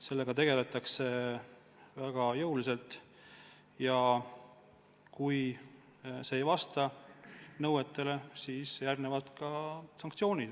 Sellega tegeldakse väga jõuliselt ja kui see ei vasta nõuetele, siis järgnevad sanktsioonid.